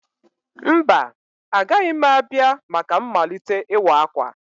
Mba, agaghị m abịa maka mmalite ịwa akwa.